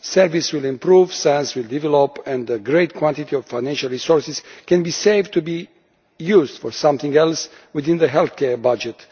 Service will improve, science will develop and a great quantity of financial resources can be saved to be used for something else within the healthcare budget.